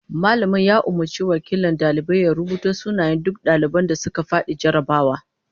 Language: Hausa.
Mallamin ya umurci wakilin daliban ya rubuto sunayen duk daliban da suka fadi jarrabawar